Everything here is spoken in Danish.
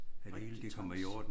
At det hele de kommer i orden